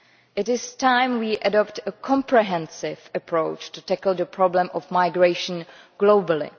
It is time we adopted a comprehensive approach to tackle the problem of migration globally.